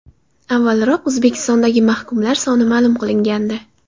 Avvalroq O‘zbekistondagi mahkumlar soni ma’lum qilingandi.